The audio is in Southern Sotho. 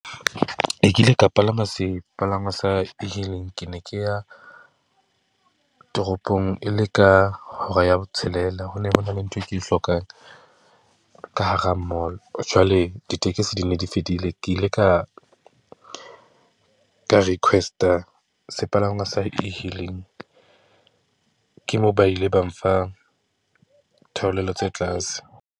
Ke kile ka palama sepalangwa sa e-hailing. Ke ne ke ya toropong e le ka hora ya botshelela. Ho ne hona le ntho e ke e hlokang ka hara mall. Jwale ditekesi di ne di fedile. Ke ile ka, ka request-a sepalangwa sa e-hailing. Ke moo ba ile ba mfa theolelo tse tlase.